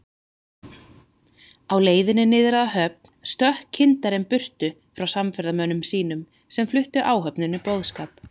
Á leiðinni niður að höfn stökk kyndarinn burtu frá samferðamönnum sínum, sem fluttu áhöfninni boðskap